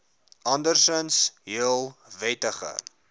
andersinds heel wettige